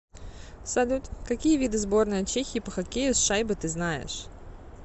салют какие виды сборная чехии по хоккею с шайбой ты знаешь